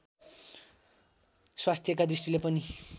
स्वास्थ्यका दृष्टिले पनि